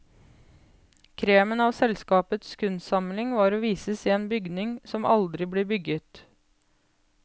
Kremen av selskapets kunstsamling skal vises i en bygning som aldri blir bygget.